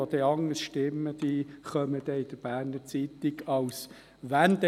Jene, die anders stimmen werden, kommen dann als «Wendehälse» in die «Berner Zeitung».